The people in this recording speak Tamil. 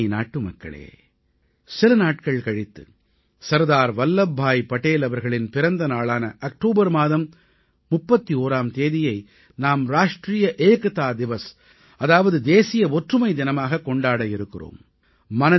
எனதருமை நாட்டுமக்களே சில நாட்கள் கழித்து சர்தார் வல்லப்பாய் படேல் அவர்களின் பிறந்த நாளான அக்டோபர் மாதம் 31ஆம் தேதியை நாம் ராஷ்ட்ரீய ஏக்தா திவஸ் அதாவது தேசிய ஒற்றுமை தினமாகக் கொண்டாட இருக்கிறோம்